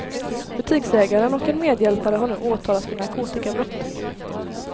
Butiksägaren och en medhjälpare har nu åtalats för narkotikabrott.